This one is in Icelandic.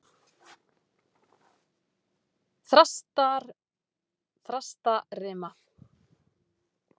Þrastarima